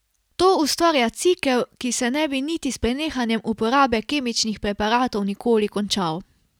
To ustvarja cikel, ki se ne bi niti s prenehanjem uporabe kemičnih preparatov nikoli končal.